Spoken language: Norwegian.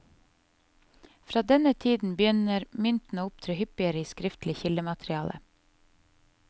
Fra denne tiden begynner mynt å opptre hyppigere i skriftlig kildemateriale.